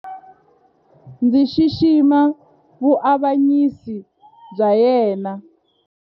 Ndzi xixima vuavanyisi bya yena.